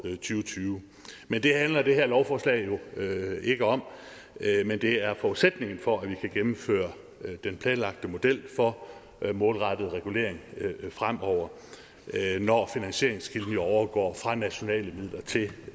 tyve men det handler det her lovforslag jo ikke om men det er forudsætningen for at vi kan gennemføre den planlagte model for målrettet regulering fremover når finansieringen overgår fra nationale midler til